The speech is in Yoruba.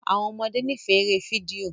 Àwọn ọmọdé n'ifẹ èrè fídíò